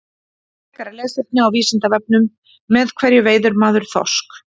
Frekara lesefni á Vísindavefnum: Með hverju veiðir maður þorsk?